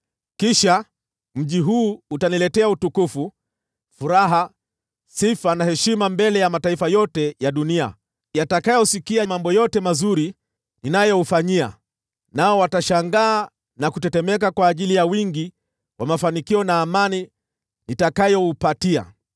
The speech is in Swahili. Kisha mji huu utaniletea utukufu, furaha, sifa na heshima mbele ya mataifa yote ya dunia yatakayosikia mambo yote mazuri ninayoufanyia. Nao watashangaa na kutetemeka kwa ajili ya wingi wa mafanikio na amani nitakayoupatia.’